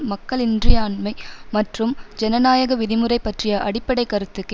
மக்கள் இன்றியாண்மை மற்றும் ஜனநாயக விதிமுறை பற்றிய அடிப்படை கருத்துக்கு